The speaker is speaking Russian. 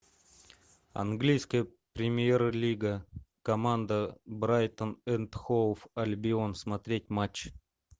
английская премьер лига команда брайтон энд хоув альбион смотреть матч